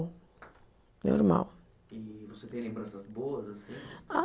Normal. E você tem lembranças boas assim? Ah